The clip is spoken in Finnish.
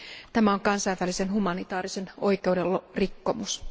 Tämä on kansainvälisen humanitaarisen oikeuden rikkomus.